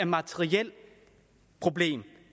materielt problem